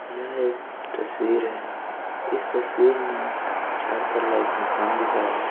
यह एक तस्वीर है इस तस्वीर में चार-चार लाइफ मकान दिख रहें हैं।